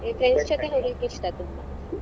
ಈ ಹೋಗ್ಲಿಕ್ಕೆ ಇಷ್ಟ ತುಂಬ.